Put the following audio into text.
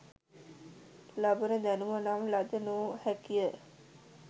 ලබන දැනුම නම් ලද නො හැකි ය